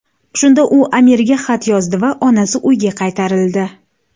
Shunda u amirga xat yozdi va onasi uyga qaytarildi.